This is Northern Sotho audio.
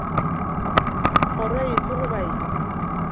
kgoro efe goba efe ya